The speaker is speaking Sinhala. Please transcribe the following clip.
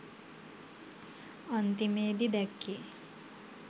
අන්තිමේදී දැක්කේ